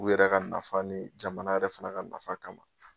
U yɛrɛ ka nafa ni jamana yɛrɛ fana ka nafa kama